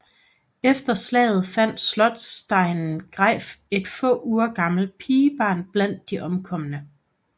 Efter slaget fandt slotsdegnen Greif et få uger gammelt pigebarn blandt de omkomne